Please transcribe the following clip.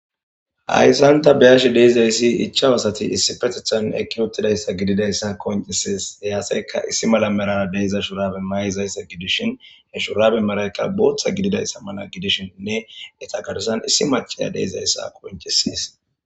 Hayssan ta beyashe dizayssi ichchawu asati shiiqi uttidayssakka qonccises. He asaykka issi malara diza shurabe mayi dizayssa mayizayssa gidishin, he shurabe malaykka booththa gididayssa mala gidishininne eta garssan issi maccaya de'izayssa qonccises.